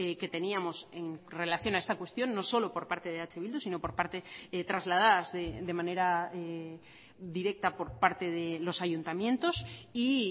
que teníamos en relación a esta cuestión no solo por parte de eh bildu sino por parte trasladadas de manera directa por parte de los ayuntamientos y